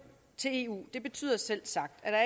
til eu betyder selvsagt at der